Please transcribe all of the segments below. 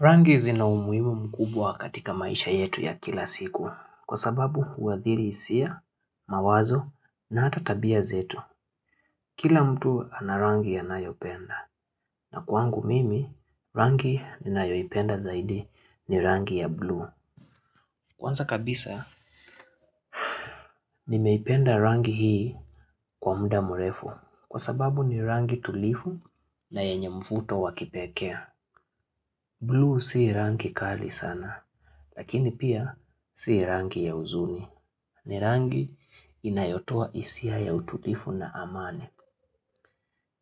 Rangi zina umuhimu mkubwa katika maisha yetu ya kila siku kwa sababu huadhiri hisia mawazo na hata tabia zetu. Kila mtu ana rangi anayopenda kwangu mimi rangi ninayopenda zaidi ni rangi ya blue. Kwanza kabisa nimeipenda rangi hii kwa muda mrefu kwa sababu ni rangi tulivu na yenye mvuto wakipekee. Blue si rangi kali sana, lakini pia si rangi ya uzuni. Ni rangi inayotoa hisia ya ututifu na amani.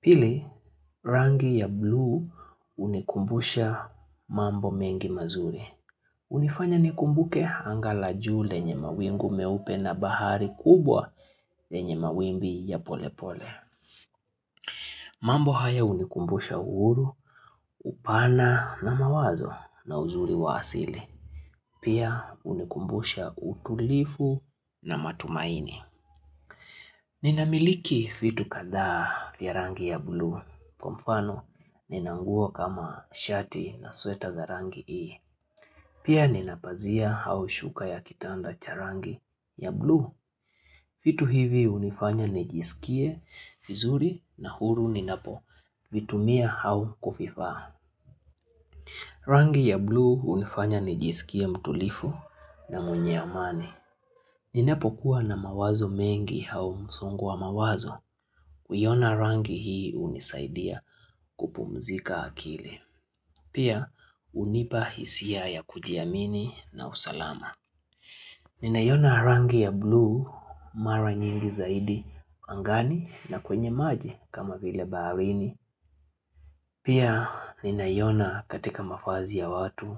Pili rangi ya blue hunikumbusha mambo mengi mazuri. Hunifanya nikumbuke anga la juu lenye mawingu meupe na bahari kubwa lenye mawimbi ya polepole. Mambo haya hunikumbusha uhuru, upana na mawazo na uzuri wa asili. Pia hunikumbusha utulivu na matumaini. Ninamiliki vitu kadhaa vya rangi ya blue. Kwa mfano, nina nguo kama shati na sweta za rangi hii. Pia nina pazia au shuka ya kitanda cha rangi ya blue. Vitu hivi hunifanya nijisikie vizuri na huru ninapo. Vitumia au kuviva. Rangi ya blue hunifanya nijisikie mtulivu na mwenye amani. Ninapokuwa na mawazo mengi au msongu wa mawazo Uiona rangi hii hunisaidia kupumzika akili Pia hunipa hisia ya kujiamini na usalama Ninaiona rangi ya blue mara nyingi zaidi angani na kwenye maji kama vile baharini Pia ninaiona katika mavazi ya watu,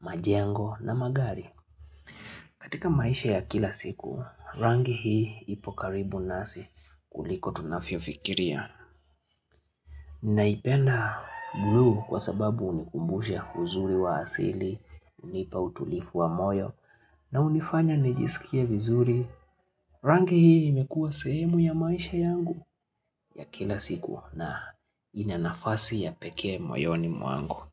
majengo na magari katika maisha ya kila siku, rangi hii ipo karibu nasi kuliko tunavyo fikiria. Ninaipenda buluu kwa sababu hunikumbusha uzuri wa asili, hunipa utulivu wa moyo, na hunifanya nijisikie vizuri, rangi hii imekua sehemu ya maisha yangu ya kila siku na ina nafasi ya pekee moyoni mwangu.